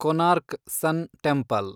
Konark sun temple